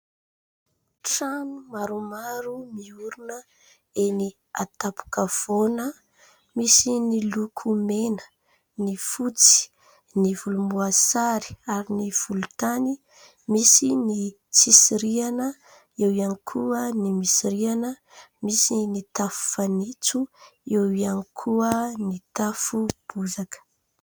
Trano maromaro miorina eny antapo-kavoana misy ny loko mena, ny fotsy, ny volomboasary ary ny volotany ; misy ny tsisy rihana eo ihany koa ny misy rihana ; misy ny tafo fanitso eo ihany koa ny tafo bozaka.